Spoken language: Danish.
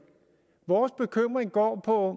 vores bekymring går på